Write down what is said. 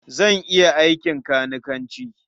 Zan iya aikin kanikanci.